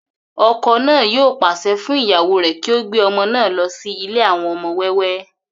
ọkọ náà yóò pàṣẹ fún ìyàwó rẹ̀ kí ó gbé ọmọ náà lọ sí ilé àwọn ọmọ wẹ́wẹ́